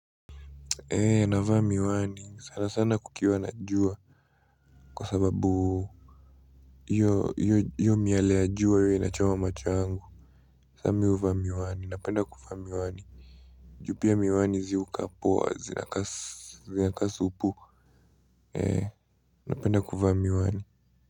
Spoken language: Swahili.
Ee navaa miwani sana sana kukiwa na jua kwa sababu hiyo hiyo miale ya jua huwa inachoma macho yangu saa mi huvaa miwani napenda kuvaa miwani ju pia miwani zi hukaa poa zinakaa supuu ee napenda kuvaa miwani.